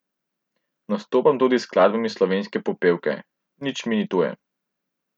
Nastopam tudi s skladbami s Slovenske popevke, nič mi ni tuje.